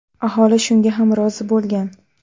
Aholi shunga ham rozi bo‘lgan.